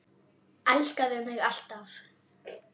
Elskaðu mig alt af.